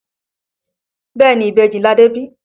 Bẹ́ẹ̀ni ìbejì ni Adé bí